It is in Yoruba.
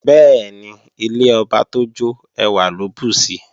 Bẹ́ẹ̀ni, ilé ọba tó jọ́ ẹwà ló bùsi